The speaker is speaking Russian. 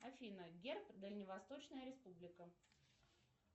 афина герб дальневосточная республика